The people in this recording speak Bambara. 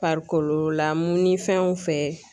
farikolo la mun ni fɛn o fɛn ye.